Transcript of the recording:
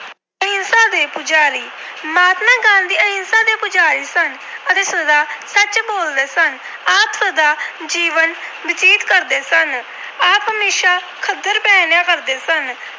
ਅਹਿੰਸਾ ਦੇ ਪੁਜਾਰੀ- ਮਹਾਤਮਾ ਗਾਂਧੀ ਅਹਿੰਸਾ ਦੇ ਪੁਜਾਰੀ ਸਨ ਅਤੇ ਸਦਾ ਸੱਚ ਬੋਲਦੇ ਸਨ। ਆਪ ਸਾਦਾ ਜੀਵਨ ਬਤੀਤ ਕਰਦੇ ਸਨ। ਆਪ ਹਮੇਸ਼ਾ ਖੱਦਰ ਪਹਿਨਣਿਆਂ ਕਰਦੇ ਸਨ।